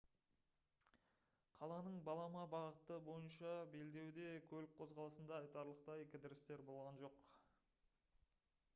қаланың балама бағыты бойынша белдеуде көлік қозғалысында айтарлықтай кідірістер болған жоқ